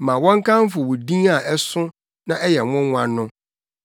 Ma wɔnkamfo wo din a ɛso na ɛyɛ nwonwa no, ɔyɛ ɔkronkron.